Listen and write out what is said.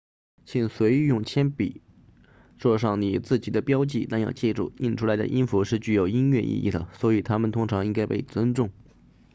请随意用铅笔作上你自己的标记但要记住印出来的音符是具有音乐意义的所以它们通常应该被尊重